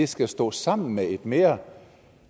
skal stå sammen med et mere